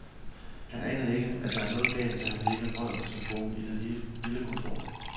Han aner ikke, at der er noget galt, da han lægger røret på telefonen i det lille kontor.